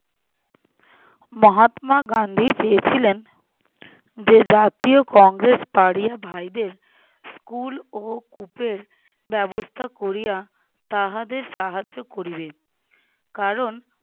মহাত্মা গান্ধী চেয়েছিলেন, যে জাতীয় কংগ্রেস পাড়িয়া ভাইদের school ও কূপের ব্যবস্থা করিয়া তাদের সাহায্য করিবেন। কারণ